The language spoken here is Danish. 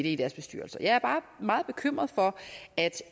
i deres bestyrelser jeg er bare meget bekymret for at